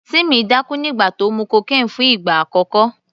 Timmy dákú nígbà tó mu cocaine fún ìgbà àkọ́kọ́.